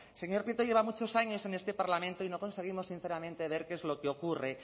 señor prieto lleva muchos años en este parlamento y no conseguimos sinceramente ver qué es lo que ocurre